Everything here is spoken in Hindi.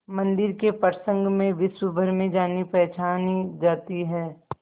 मंदिर के प्रसंग में विश्वभर में जानीपहचानी जाती है